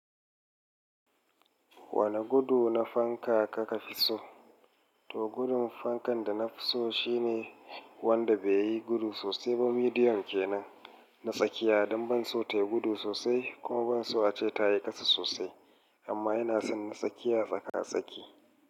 Wane gudu na fanka ka ka fi so? To, gudun fankan da na fi so shi ne wanda bai yi gudu sosai ba. Midiyon kenan na tsakiya don ban so ta yi gudu sosai kuma ban so ace ta yi ƙasa sosai, amma yana son na tsakiya tsaka-tsaki.